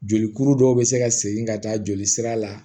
Jolikuru dɔw bɛ se ka segin ka taa joli sira la